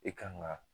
E kan ga